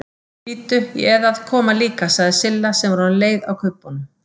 Bíddu, ég eð að koma líka sagði Silla sem var orðin leið á kubbunum.